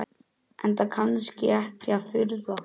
Enda kannski ekki að furða.